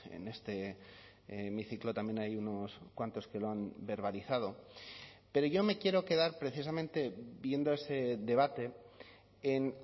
en este hemiciclo también hay unos cuantos que lo han verbalizado pero yo me quiero quedar precisamente viendo ese debate en